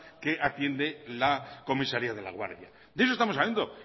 que atiende la comisaría de laguardia de eso estamos hablando